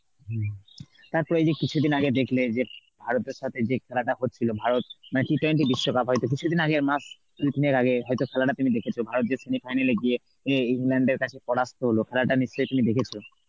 হম তারপর এই যে কিছুদিন আগে দেখলে যে ভারতের সাথে যে খেলাটা হচ্ছিল ভারত মানে T twenty বিশ্বকাপ হয়তো কিছুদিন আগে মাস খানেকের আগে হয়তো খেলাটা তুমি দেখেছো ভারত যে semi final এ গিয়ে এ~ ইংল্যান্ডের কাছে পরাস্ত হলো খেলাটা নিশ্চয়ই তুমি দেখেছো.